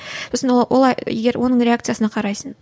ы сосын ол олай егер оның реакциясына қарайсың